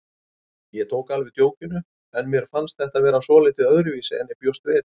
Ég tók alveg djókinu en mér fannst þetta vera svolítið öðruvísi en ég bjóst við.